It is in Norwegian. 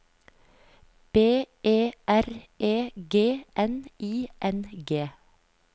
B E R E G N I N G